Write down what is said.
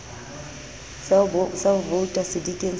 sa ho vouta sedikeng sa